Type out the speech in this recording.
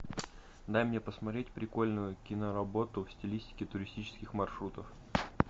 дай мне посмотреть прикольную киноработу в стилистике туристических маршрутов